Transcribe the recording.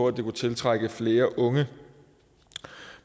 at det kunne tiltrække flere unge